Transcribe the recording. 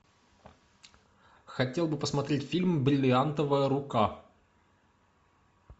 хотел бы посмотреть фильм бриллиантовая рука